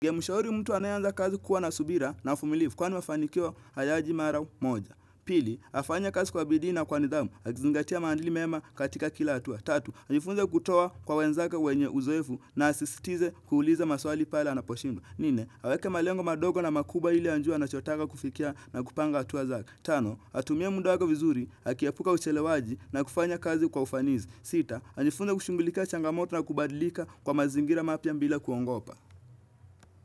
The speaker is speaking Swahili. Gemushauri mtu anayeanza kazi kuwa na subira na ufumilifu kwani wafanikio hayaji mara moja. Pili, afanye kazi kwa bidii na kwa nidhamu, akizingatia maandili mema katika kila atua. Tatu, ajifunze kutowa kwa wenzaka wenye uzoefu na asistize kuuliza maswali pale anaposhindwa. Nne, aweke malengo madogo na makubwa ili anjue anachotaka kufikia na kupanga atua zake. Tano, atumie munda wake vizuri, akiepuka uchelewaji na kufanya kazi kwa ufanizi. Sita, ajifunze kushungulikia changamoto na kubadilika kwa mazingira mapya mbila kuongopa.